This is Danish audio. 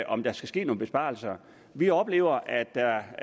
om der skal ske nogle besparelser vi oplever at der